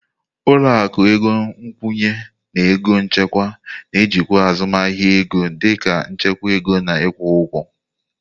Ụlọ akụ ego nkwụnye na ego nchekwa na-ejikwa azụmahịa ego dị ka nchekwa ego na ịkwụ ụgwọ.